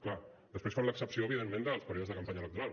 clar després fan l’excepció evidentment dels períodes de campanya electoral